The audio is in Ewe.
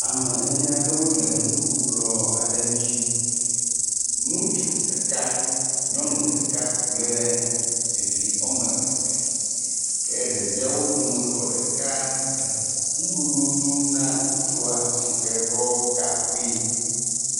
Ame ene aɖewo le nuɖukplɔ aɖe ŋutsi. Ŋutsu ɖeka, nyɔnu ɖeka kple evi wɔme eve ke ɖeviawo dometɔ ɖeka le nuɖuɖu dom na ŋutsua si ke ɖɔ gaŋkui.